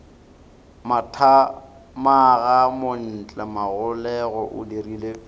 mathamaga montle magolego o dirile